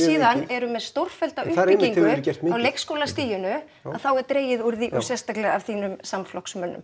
síðan með stórfellda uppbyggingu á leikskólastiginu þá er dregið úr því og sérstaklega af þínum samflokksmönnum